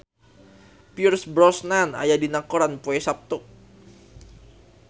Pierce Brosnan aya dina koran poe Saptu